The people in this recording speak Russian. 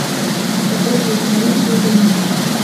показывай киноленту утренний секс